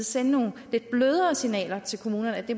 sende nogle lidt blødere signaler til kommunerne